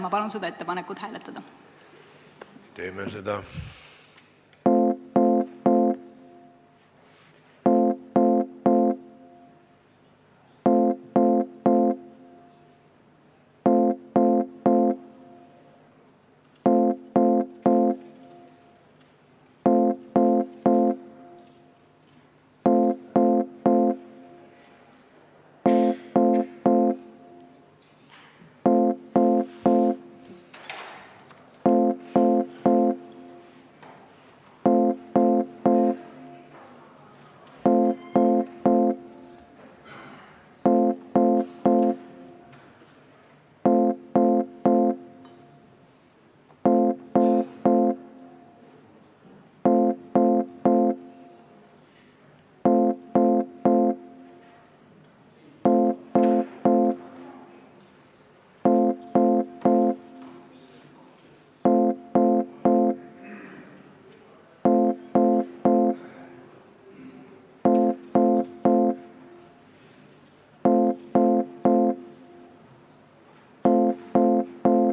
Ma palun seda ettepanekut hääletada!